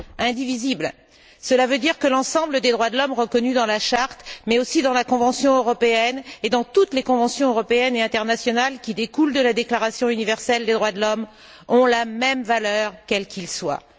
Indivisible, cela veut dire que l'ensemble des droits de l'homme reconnus dans la Charte mais aussi dans la Convention européenne, et dans toutes les conventions européennes et internationales qui découlent de la Déclaration universelle des droits de l'homme, ont la même valeur quels qu'ils soient.